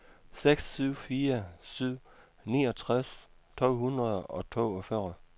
seks syv fire syv niogtres to hundrede og toogfyrre